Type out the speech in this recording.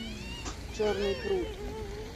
черный пруд